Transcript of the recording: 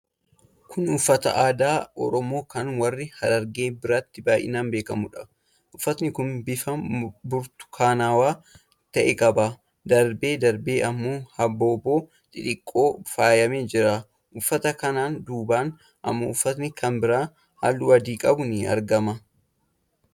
Kun uffata aadaa Oromoo kan warra Harargee biratti baay'inaan beekamuudha. Uffati kun bifa burtukaanawaa ta'e qaa. Darbee darbee ammoo habaaboo xixiqqoon faayamee jira. Uffata kana dudduubaan ammoo uffati kan biraan halluu adii qabu ni argama.